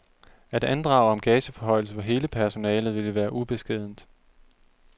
At andrage om gageforhøjelse for hele personalet ville være ubeskedent.